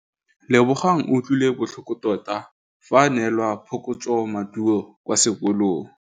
Lebogang o utlwile botlhoko tota fa a neelwa phokotsômaduô kwa sekolong.